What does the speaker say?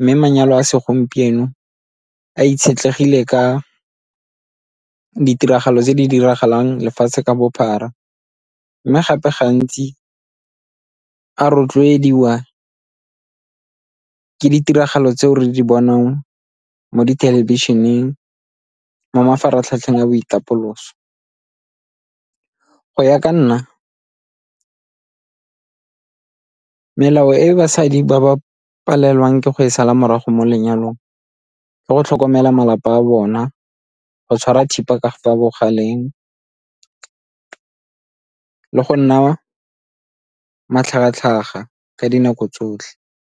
mme manyalo a segompieno a itshetlegile ka ditiragalo tse di diragalang lefatshe ka bophara. Mme gape gantsi a rotloediwa ke ditiragalo tseo re di bonang mo dithelebišeneng, mo mafaratlhatlheng a boitapoloso. Go ya ka nna, melao e basadi ba ba palelwang ke go e sala morago mo lenyalong ke go tlhokomela malapa a bona, go tshwara thipa ka fa bogaleng le go nna matlhagatlhaga ka dinako tsotlhe.